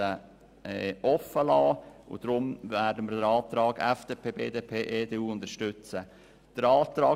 Dieser entspricht unserer Vernehmlassung und dem ursprünglichen Gesetz.